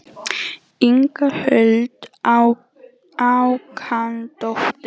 Inga Huld Hákonardóttir.